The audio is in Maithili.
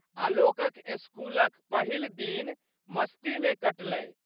आलोकक स्कूलक पहिल दिन मस्तीमे कटलै।